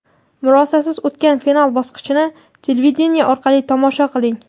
murosasiz o‘tgan final bosqichini televideniye orqali tomosha qiling.